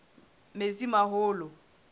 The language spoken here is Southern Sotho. metsimaholo